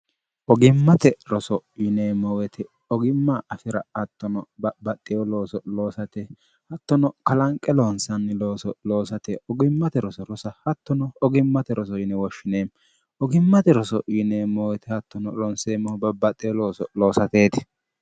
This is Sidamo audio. ogimmate roso yineemmoowete ogimma afira attono babbaxxeyo looso loosate hattono kalanqe loonsanni looso loosate ugimmate roso rosa hattono ogimmate roso yine woshshineemmo ogimmate roso yineemmowete hattono loonseemmohu babbaxxewo looso loosateeti